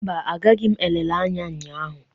Mba, agaghị m nlele anya ụnyaahụ.